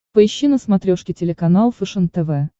поищи на смотрешке телеканал фэшен тв